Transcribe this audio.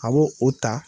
A b'o o ta